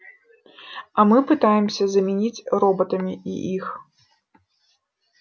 а мы пытаемся заменить роботами и их